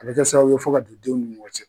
A bɛ kɛ sababu ye fo ka don denw ni ɲɔgɔn cɛ.